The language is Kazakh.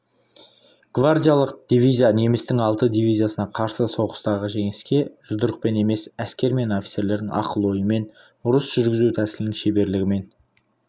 гвардиялық дивизия немістің алты дивизиясына қарсы соғыстағы жеңіске жұдырықпен емес әскер мен офицерлердің ақыл-ойымен ұрыс жүргізу тәсілінің шеберлігімен